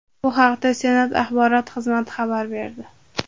Bu haqda Senat axborot xizmati xabar berdi .